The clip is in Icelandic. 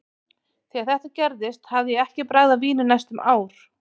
Þegar þetta gerðist hafði ég ekki bragðað vín í næstum ár.